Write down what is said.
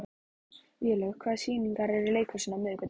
Vélaug, hvaða sýningar eru í leikhúsinu á miðvikudaginn?